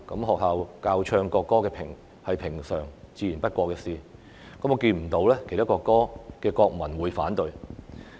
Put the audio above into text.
學校教唱國歌自然是平常不過的事，我看不見其他國家的國民會反對。